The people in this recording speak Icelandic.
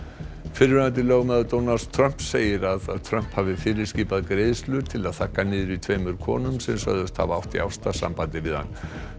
fyrrverandi lögmaður Donalds Trumps segir að Trump hafi fyrirskipað greiðslur til að þagga niður í tveimur konum sem sögðust hafa átt í ástarsambandi við hann